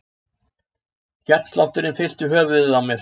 Hjartslátturinn fyllti höfuðið á mér.